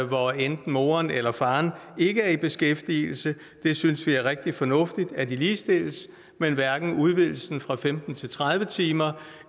hvor enten moren eller faren ikke er i beskæftigelse vi synes det er rigtig fornuftigt at de ligestilles men hverken udvidelsen fra femten til tredive timer